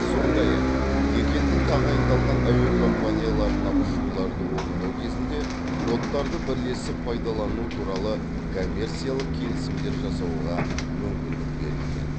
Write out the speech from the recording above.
сондай ақ екі елдің тағайындалған әуе компанияларына ұшуларды орындау кезінде кодтарды бірлесіп пайдалану туралы коммерциялық келісімдер жасауға мүмкіндік берілген